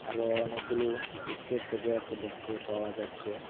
আরো অনেকগুলো পুপসের প্যাকেট দেখতে পাওয়া যাচ্ছে।